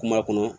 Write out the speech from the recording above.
Kuma kɔnɔ